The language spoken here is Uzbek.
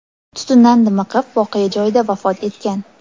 tutundan dimiqib, voqea joyida vafot etgan.